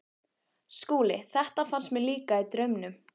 SKÚLI: Þetta fannst mér líka- í draumnum.